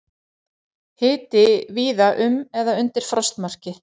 Hiti víða um eða undir frostmarki